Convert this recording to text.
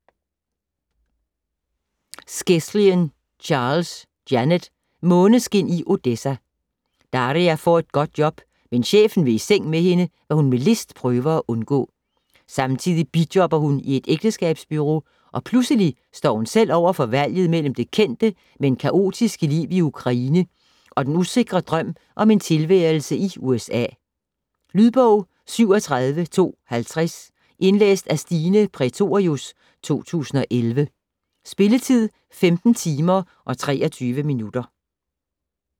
Skeslien Charles, Janet: Måneskin i Odessa Daria får et godt job, men chefen vil i seng med hende, hvad hun med list prøver at undgå. Samtidig bijobber hun i et ægteskabsbureau, og pludselig står hun selv over for valget mellem det kendte, men kaotiske liv i Ukraine og den usikre drøm om en tilværelse i USA. Lydbog 37250 Indlæst af Stine Prætorius, 2011. Spilletid: 15 timer, 23 minutter.